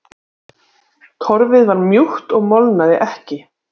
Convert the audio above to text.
Torfið var mjúkt og molnaði ekki.